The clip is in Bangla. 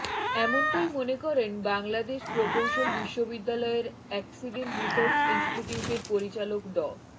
এমনটাই মনে করেন বাংলাদেশ প্রকৌশল বিশ্ববিদ্যালয়ের অ্যাকসিডেন্ট রিসার্চ ইন্সটিটিউটের পরিচালক ড